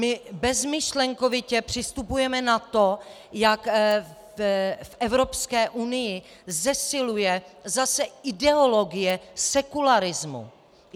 My bezmyšlenkovitě přistupujeme na to, jak v Evropské unii zesiluje zase ideologie sekularismu.